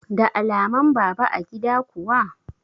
Da alaman baba a gida kuwa?